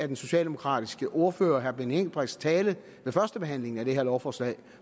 den socialdemokratiske ordfører herre benny engelbrechts tale ved førstebehandlingen af det her lovforslag